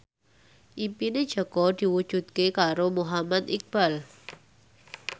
impine Jaka diwujudke karo Muhammad Iqbal